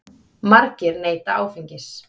Margir neyta áfengis.